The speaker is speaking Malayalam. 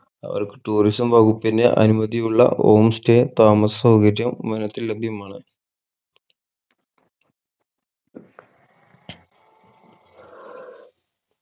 അവർക്ക്‌ tourism വകുപ്പിന്റെ അനുമതിയുള്ള home stay താമസ സൗകര്യം വനത്തിൽ ലഭ്യമാണ്